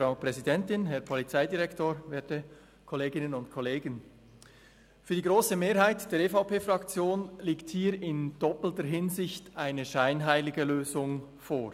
Für die grosse Mehrheit der EVP-Fraktion liegt hier in doppelter Hinsicht eine scheinheilige Lösung vor.